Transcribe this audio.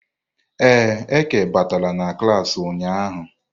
Ee, Eke batara na klas ụnyahụ.